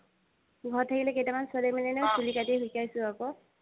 ঘৰত থাকিলে কেইটামান ছোৱালী মানে নহয় চুলি কাটিব শিকাইছো আকৌ।